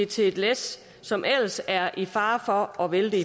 til et læs som ellers er i fare for at vælte